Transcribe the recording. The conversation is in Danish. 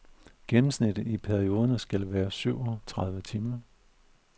Gennemsnittet i perioderne skal være syv og tredive timer.